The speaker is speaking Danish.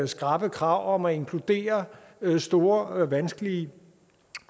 skrappe krav om at inkludere store vanskelige